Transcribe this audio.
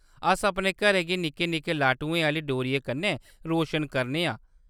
अस अपने घरें गी निक्के-निक्के लाटुएं आह्‌लियें डोरियें कन्नै रोशन करने आं।